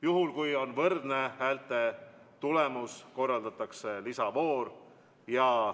Juhul kui on võrdne häälte tulemus, korraldatakse lisavoor.